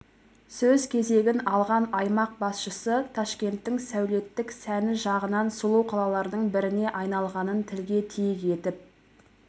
сөз кезегін алған аймақ басшысы ташкенттің сәулеттік сәні жағынан сұлу қалалардың біріне айналғанын тілге тиек етіп